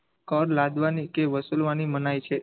કર લાદવાની કે વસુલવાની મનાઈ છે.